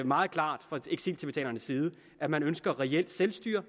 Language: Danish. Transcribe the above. meget klart at man ønsker reelt selvstyre